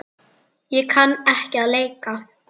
Ég kann ekki að leika.